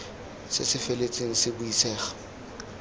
se se feletseng se buisega